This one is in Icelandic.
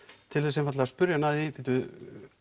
til þess einfaldlega að spurja hann að því bíddu